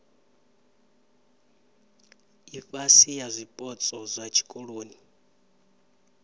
ifhasi ya zwipotso zwa tshikoloni